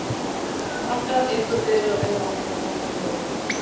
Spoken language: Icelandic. Ég sagði honum að hann hefði gert það sjálfur.